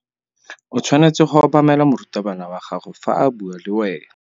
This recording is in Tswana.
O tshwanetse go obamela morutabana wa gago fa a bua le wena.